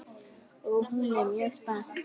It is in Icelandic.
Og hún er mjög spennt.